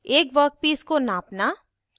एक वर्कपीस को नापना